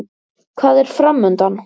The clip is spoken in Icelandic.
Hvað er framundan?